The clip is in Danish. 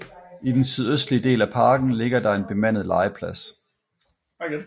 I den sydøstlige del af parken ligger der en bemandet legeplads